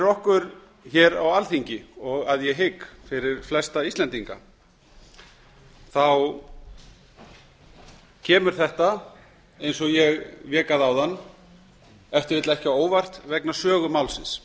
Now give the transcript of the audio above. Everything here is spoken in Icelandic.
okkur á alþingi og að ég hygg flestum íslendingum kemur þetta eins og ég vék að áðan ef til vill ekki á óvart vegna sögu málsins